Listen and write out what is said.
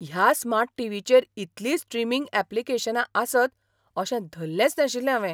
ह्या स्मार्ट टीव्हीचेर इतलीं स्ट्रीमिंग ऍप्लिकेशनां आसत अशें धल्लेंच नाशिल्लें हावें!